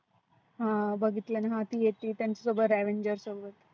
हा बघितलंना हा ती येती त्याच्या सोबत avaengers सोबत.